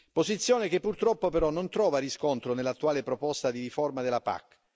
Posizione che purtroppo però non trova riscontro nell'attuale proposta di riforma della PAC.